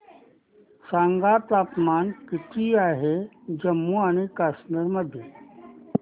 सांगा तापमान किती आहे जम्मू आणि कश्मीर मध्ये